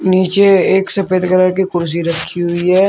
नीचे एक सफेद कलर की कुर्सी रखी हुई है।